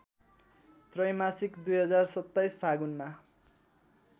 त्रैमासिक २०२७ फागुनमा